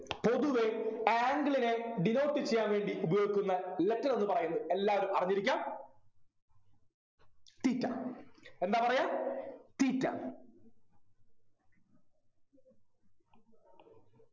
പൊതുവെ angle നെ denote ചെയ്യാൻ വേണ്ടി ഉപയോഗിക്കുന്ന letter എന്നു പറയുന്നത് എല്ലാരും അറിഞ്ഞിരിക്കാ theta എന്താ പറയാ theta